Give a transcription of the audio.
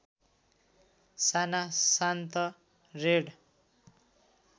साना शान्त रेड